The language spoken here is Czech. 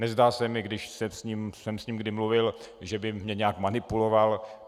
Nezdá se mi, když jsem s ním kdy mluvil, že by mě nějak manipuloval.